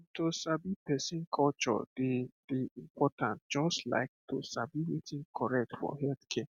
um to sabi person culture dey dey important just like to sabi wetin correct for healthcare